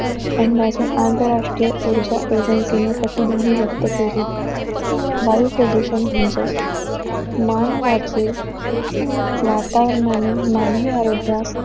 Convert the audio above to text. आणि आंतरराष्ट्रीय ऊर्जा agency ने प्रतिध्वनि व्यक्त केली. वायू प्रदूषण म्हणजे मानवाचे वातावरणाने मानवी आरोग्यास